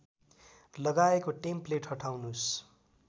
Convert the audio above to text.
लगाएको टेम्प्लेट हटाउनुस्